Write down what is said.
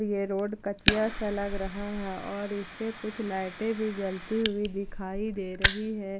ये रोड कचिया सा लग रहा है और इसपे कुछ लाइटें भी जलती हुई दिखाई दे रही है।